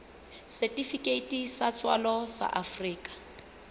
setifikeiti sa tswalo sa afrika